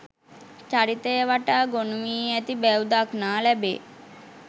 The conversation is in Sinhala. චරිතය වටා ගොනුවී ඇති බැව් දක්නා ලැබේ